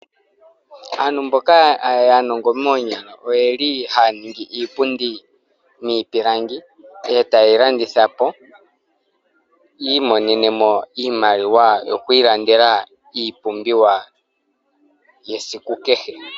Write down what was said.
Aantu mboka aanongo moonyala oye li ha ya ningi iipundi miipilangi ee ta ye yi landitha po yiimonene mo iimaliwa yoku ilandela iipumbiwa yesiku kehe.